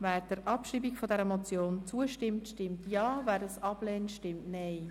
Wer der Abschreibung der Motion zustimmt, stimmt Ja, wer dies ablehnt, stimmt Nein.